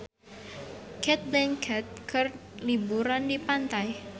Cate Blanchett keur liburan di pantai